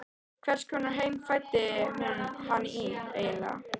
Í hvers konar heim fæddi hún hann eiginlega?